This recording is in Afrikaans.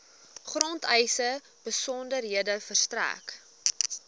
grondeise besonderhede verstrek